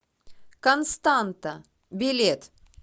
константа билет